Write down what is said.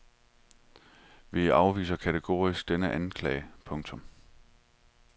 Vi afviser kategorisk denne anklage. punktum